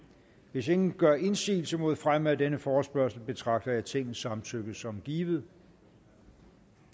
hvis ingen gør indsigelse mod fremme af denne forespørgsel betragter jeg tingets samtykke som givet